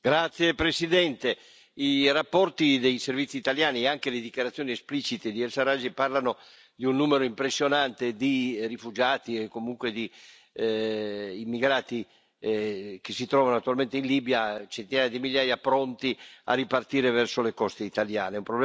Signora Presidente, onorevoli colleghi, i rapporti dei servizi italiani e anche le dichiarazioni esplicite di Sarraj parlano di un numero impressionante di rifugiati e comunque di immigrati che si trovano attualmente in Libia, centinaia di migliaia pronti a ripartire verso le coste italiane.